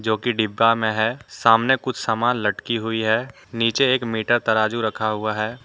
डिब्बा में है सामने कुछ सामान लटकी हुई है नीचे एक मीटर तराजू रखा हुआ है।